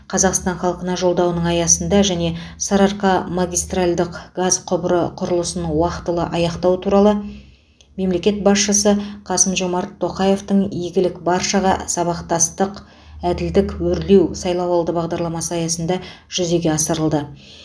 қазақстан халқына жолдауының аясында және сарыарқа магистральдық газ құбыры құрылысын уақтылы аяқтау туралы мемлекет басшысы қасым жомарт тоқаевтың игілік баршаға сабақтастық әділдік өрлеу сайлауалды бағдарламасы аясында жүзеге асырылды